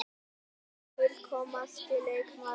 Hann er fullkomnasti leikmaðurinn.